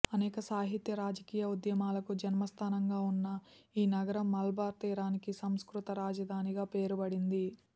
అనేక సాహిత్య రాజకీయ ఉద్యమాలకు జన్మస్థానంగా ఉన్న ఈ నగరం మలబార్ తీరానికి సంస్కృత రాజధాని గా పేరుబడింది